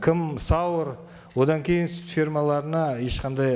кім сауэр одан кейін сүт фермаларына ешқандай